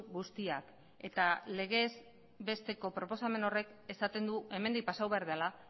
guztiak eta legez besteko proposamena horrek esaten du hemendik pasatu behar dela